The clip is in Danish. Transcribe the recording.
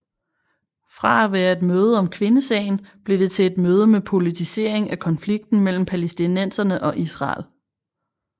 Fra at være et møde om kvindesagen blev det til et møde med politisering af konflikten mellem palæstinenserne og Israel